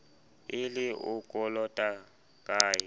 e le o kolotang ka